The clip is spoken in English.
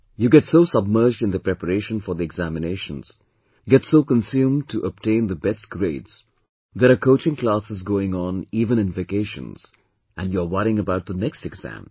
You get so submerged in the preparation for the examinations, get so consumed to obtain the best grades, there are coaching classes going on even in vacations and you're worrying about the next exam